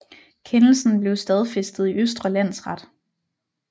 Kendelsen blev stadfæstet i Østre Landsret